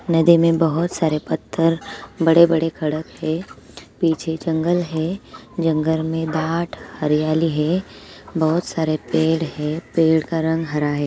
नदी में बहोत सारे पत्थर बड़े-बड़े खड़क हे पीछे जंगल है| जंगल में डाट हरियाली हे बहोत सारे पेड़ हे पेड़ का रंग हरा हे।